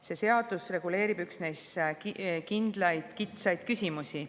See seadus reguleerib üksnes kitsaid küsimusi.